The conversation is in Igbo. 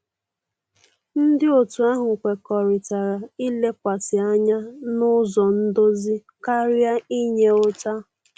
Ndị otu ahụ kwekọrịtara ilekwasị anya n'ụzọ ndozi karịa inye ụta.